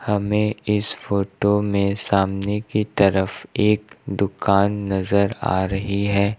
हमें इस फोटो में सामने की तरफ एक दुकान नजर आ रही है।